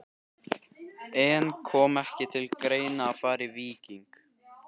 En kom ekki til greina að fara í Víking?